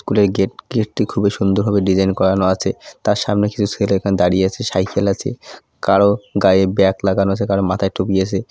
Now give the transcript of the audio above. স্কুলের গেট | গেটটি খুবই সুন্দরভাবে ডিজাইন করানো আছে | তার সামনে কিছু ছেলে এখানে দাঁড়িয়ে আছে সাইকেল আছে | কারো গায়ে ব্যাগ লাগানো আছে কারো মাথায় টুপি আছে।